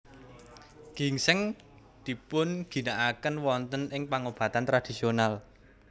Gingsèng dipunginakaken wonten ing pangobatan tradisional